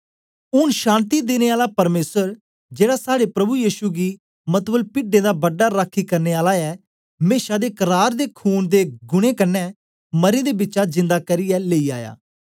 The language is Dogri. ऊन शान्ति देने आला परमेसर जेड़ा साड़े प्रभु यीशु गी मतलब पिड्डें दा बड़ा राखी करने आला ऐ मेशा दे करार दे खून दे गुणें कन्ने मरें दें बिचा जिंदा करियै लेई आया